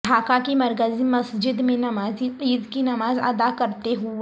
ڈھاکہ کی مرکزی مسجد میں نمازی عید کی نماز ادا کرتے ہوئے